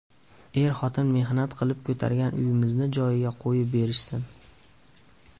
Er-xotin mehnat qilib ko‘targan uyimizni joyiga qo‘yib berishsin.